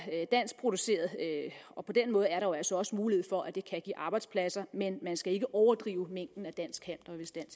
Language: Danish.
danskproduceret og på den måde er der jo altså også mulighed for at det kan give arbejdspladser men man skal ikke overdrive mængden af dansk halm hvis det